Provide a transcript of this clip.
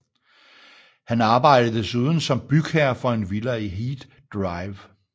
Han arbejdede desuden som bygherre for en villa i Heath Drive